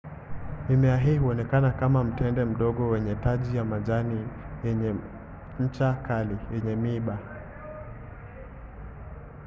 mimea hii inaonekana kama mtende mdogo wenye taji ya majani yenye ncha kali yenye miiba